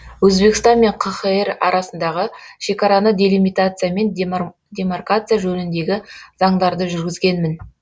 өзбекстан мен қхр арасындағы шекараны делимитация мен демаркация жөніндегі заңдарды жүргізгенмін